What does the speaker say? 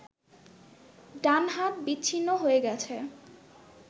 ডান হাত বিচ্ছ্ন্নি হয়ে গেছে